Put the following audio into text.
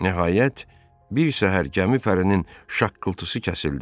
Nəhayət, bir səhər gəmi pərinin şaqqıltısı kəsildi.